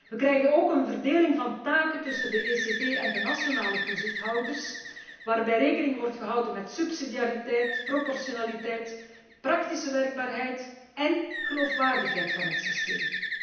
We krijgen een verdeling van taken tussen de ECB en de Nationale Toezichthouders, waarbij rekening wordt gehouden met subsidiariteit, proportionaliteit, praktische werkbaarheid en geloofwaardigheid van het systeem.